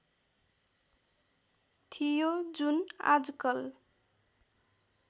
थियो जुन आजकल